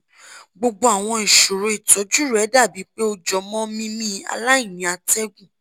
gbogbo àwọn ìṣòro ìtọ́jú rẹ dàbí pé ó jọmọ́ mímí aláìní atẹ́gùn